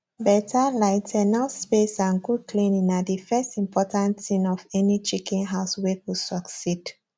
better light enough space and good cleaning na the first important thing of any chicken house wey go succeed